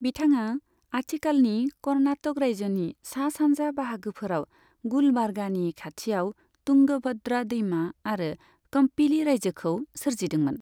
बिथाङा आथिखालनि कर्नाटक रायजोनि सा सानजा बाहागोफोराव गुलबार्गानि खाथिआव तुंगभद्रा दैमा आरो कम्पिली रायजोखौ सोरजिदोंमोन।